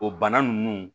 O bana nunnu